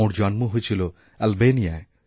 ওঁর জন্ম হয়েছিল আলবেনিয়ায়